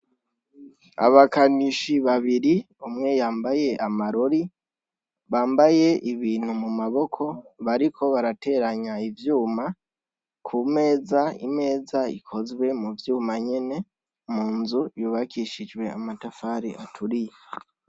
abakanishi babiri umwe yambaye amarori bambaye ibintu mu maboko bariko barateranya ivyuma ku meza imeza ikozwe mu vyuma nyene mu nzu yubakishijwe amatafari aturiye